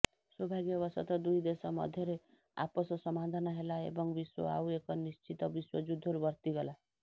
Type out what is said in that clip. ସୌଭାଗ୍ୟବଶତଃ ଦୁଇ ଦେଶ ମଧ୍ୟରେ ଆପୋଷ ସମାଧାନ ହେଲା ଏବଂ ବିଶ୍ୱ ଆଉ ଏକ ନିଶ୍ଚିତ ବିଶ୍ୱଯୁଦ୍ଧରୁ ବର୍ତ୍ତିଗଲା